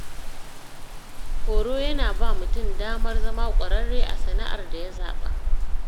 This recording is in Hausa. Horo yana ba mutum damar zama ƙwararre a sana’ar da ya zaɓa.